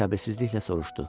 səbirsizliklə soruşdu.